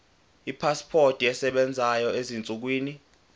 ipasipoti esebenzayo ezinsukwini